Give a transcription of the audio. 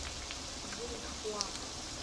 цзуньхуа